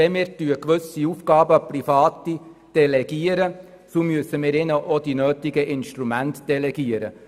Wenn wir gewisse Aufgaben an Private delegieren, so müssen wir ihnen auch die nötigen Instrumente delegieren.